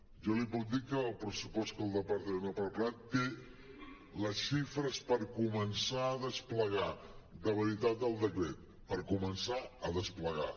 jo li puc dir que el pressupost que el departament ha preparat té les xifres per començar a desplegar de veritat el decret per començar a desplegar